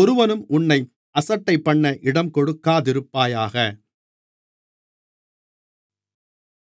ஒருவனும் உன்னை அசட்டைபண்ண இடங்கொடுக்காதிருப்பாயாக